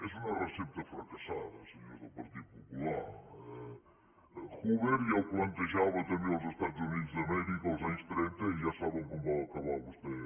és una recepta fracassada senyors del partit popular hoover ja ho plantejava també als estats units d’amèrica els anys trenta i ja saben com va acabar vostès